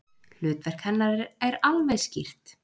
Hlutverk hennar er alveg skýrt.